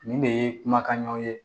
Nin de ye kumakanɲaw ye